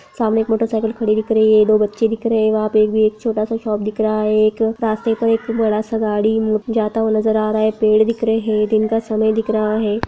सामने एक मोटरसाइकल खड़ी दिख रही है दो बच्चे दिख रहे वहां पे एक भी एक छोटा-सा शोप दिख रहा है एक रास्ते पर एक बड़ा-सा गाड़ी जाता हुआ नज़र आ रहा है एक पेड़ दिख रहे है दिन का समय दिख रहा है।